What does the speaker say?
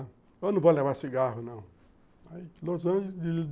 Eu não vou levar cigarro, não. Aí Los Angeles